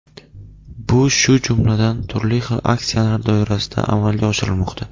Bu shu jumladan, turli xil aksiyalar doirasida amalga oshirilmoqda.